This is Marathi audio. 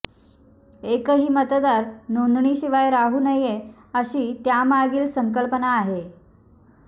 एकही मतदार नोंदणीशिवाय राहू नये अशी त्यामागील संकल्पना आहे